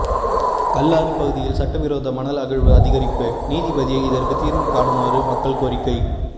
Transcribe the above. கல்லாறு பகுதியில் சட்டவிரோத மணல் அகழ்வு அதிகரிப்பு நீதிபதியை இதற்கு தீர்வுகாணுமாறு மக்கள் கோரிக்கை